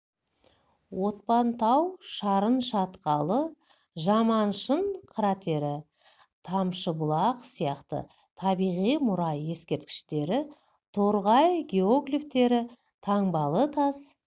отпан тау шарын шатқалы жаманшың кратері тамшыбұлақ сияқты табиғи мұра ескерткіштері торғай геоглифтері таңбалы тас